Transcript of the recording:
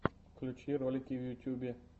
включи ролики в ютьюбе